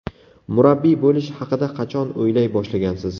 Murabbiy bo‘lish haqida qachon o‘ylay boshlagansiz?